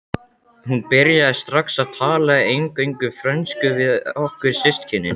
Hún byrjaði strax að tala eingöngu frönsku við okkur systkinin.